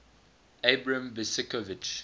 abram besicovitch